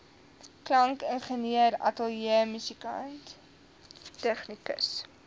klankingenieur ateljeemusikant tegnikus